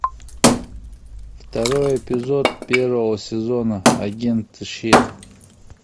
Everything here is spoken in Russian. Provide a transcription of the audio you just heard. второй эпизод первого сезона агенты щит